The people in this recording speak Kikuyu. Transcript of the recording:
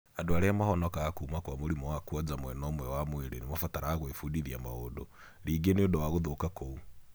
Andũ aria mahonokaga kuma kwa mũrimũ wa kwoja mwena umwe wa mwĩrĩ nĩ mabataraga gwĩbudithia maũndũ rĩngĩ nĩũndũ wa gũthũka kũu.